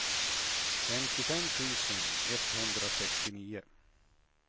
femtiofem tusen etthundrasextionio